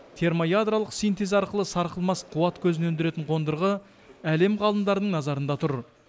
термоядролық синтез арқылы сарқылмас қуат көзін өндіретін қондырғы әлем ғалымдарының назарында тұр